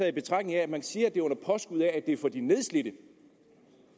i betragtning af at man siger at det er under påskud af at det for de nedslidte